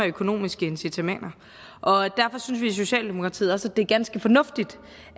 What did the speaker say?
økonomiske incitamenter og derfor synes vi i socialdemokratiet også at det er ganske fornuftigt